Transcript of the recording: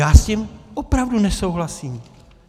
Já s tím opravdu nesouhlasím.